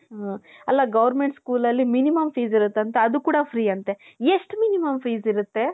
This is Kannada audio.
ಅಲ್ಲ goverment school ಅಲ್ಲಿ minimum fees ಇರುತ್ ಅಂತೆ ಅದು ಕೂಡ free ಅಂತೆ ಎಷ್ಟು minimum fees ಇರುತೆ .